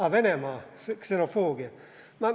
Aa, Venemaa, ksenofoobia.